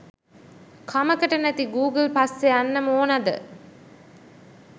කමකට නැති ගූගල් පස්සෙ යන්නම ඕනද?